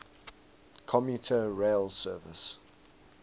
commuter rail service